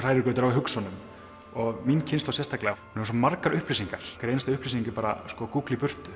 hrærigrautur af hugsunum og mín kynslóð sérstaklega hefur svo margar upplýsingar hver einasta upplýsing er bara gúgl í burtu